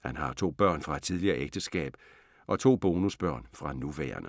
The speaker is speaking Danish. Han har to børn fra et tidligere ægteskab og to bonusbørn fra nuværende.